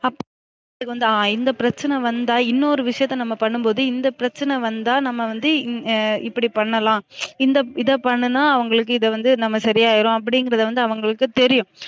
அப் வந்து இந்த பிரச்சன வந்தா இன்னொரு விஷயத்த நம்ம பண்ணும்போது இந்த பிரச்சன வந்தா நம்ம வந்து இப்படி பண்ணலாம் இந்த இத பன்னுனா அவுங்கலுக்கு இத வந்து நம்ம சரி ஆயிரும் அப்டிங்கிறது வந்து அவுங்களுக்கு தெரியும்